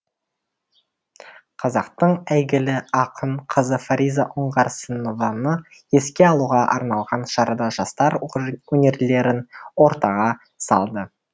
қазақтың әйгілі ақын қызы фариза оңғарсынованы еске алуға арналған шарада жастар өнерлерін ортаға салды